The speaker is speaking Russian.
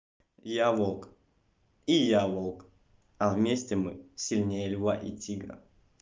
я волк и я волк а вместе мы сильнее льва и тигра